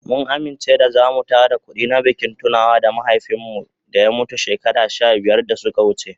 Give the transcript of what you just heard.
Mun amince da zamu tara kudi na bikin tunawa da mahaifin mu da ya mutu shekaru sha biyar da ya wuce.